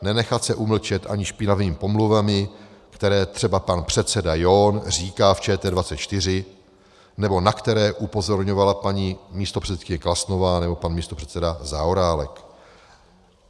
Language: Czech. Nenechat se umlčet ani špinavými pomluvami, které třeba pan předseda John říká v ČT24 nebo na které upozorňovala paní místopředsedkyně Klasnová nebo pan místopředseda Zaorálek."